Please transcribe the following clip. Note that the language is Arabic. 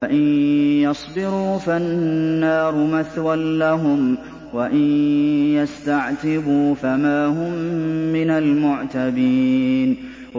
فَإِن يَصْبِرُوا فَالنَّارُ مَثْوًى لَّهُمْ ۖ وَإِن يَسْتَعْتِبُوا فَمَا هُم مِّنَ الْمُعْتَبِينَ